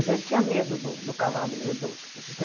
Ele tinha medo do do cavalinho do